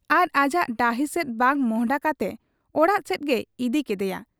ᱟᱨ ᱟᱡᱟᱜ ᱰᱟᱹᱦᱤ ᱥᱮᱫ ᱵᱟᱝ ᱢᱚᱸᱦᱰᱟ ᱠᱟᱛᱮ ᱚᱲᱟᱜ ᱥᱮᱫ ᱜᱮᱭ ᱤᱫᱤ ᱠᱮᱫᱮᱭᱟ ᱾